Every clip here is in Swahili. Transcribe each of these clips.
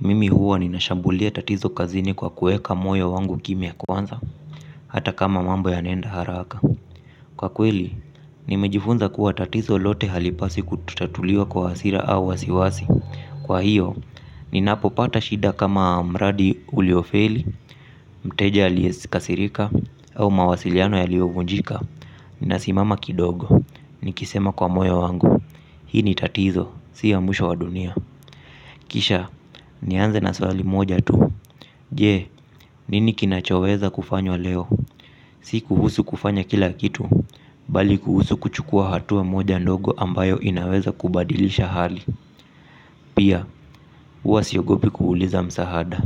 Mimi huwa ninashambulia tatizo kazini kwa kuweka moyo wangu kimya kwanza. Hata kama mambo ya naenda haraka. Kwa kweli, nimejifunza kuwa tatizo lote halipaswi kutatuliwa kwa hasira au wasiwasi. Kwa hiyo, ninapo pata shida kama mradi uliofeli, mteja aliesi kasirika au mawasiliano ya liyovunjika, ninasimama kidogo nikisema kwa moyo wangu hili tatizo sia mwisho wa dunia. Kisha, nianze na swali moja tu. Je, nini kinachoweza kufanywa leo, si kuhusu kufanya kila kitu, bali kuhusu kuchukua hatua moja ndogo ambayo inaweza kubadilisha hali. Pia, huwa siogopi kuuliza msahada,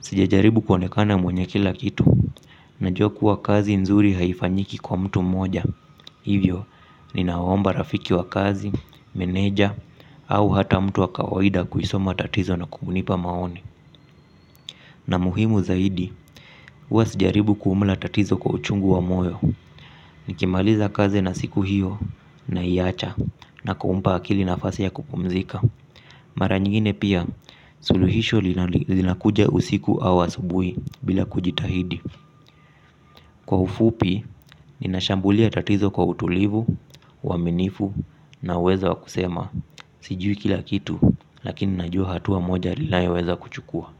sija jaribu kuonekana mwenye kila kitu, na jua ku wa kazi nzuri haifanyiki kwa mtu mmoja. Hivyo, ninawaomba rafiki wa kazi, meneja, au hata mtu wa kawaida kuisoma tatizo na kubunipa maoni. Na muhimu zaidi, huwa sijaribu kumla tatizo kwa uchungu wa moyo. Nikimaliza kazi na siku hiyo na iacha na kumpa akili na fasi ya kupumzika mara nyingine pia suluhisho linali linakuja usiku au asubuhi bila kujitahidi, kwa ufupi ninashambulia tatizo kwa utulivu uaminifu na uwezo wa kusema. Sijui kila kitu, lakini najua hatua moja lilayoweza kuchukua.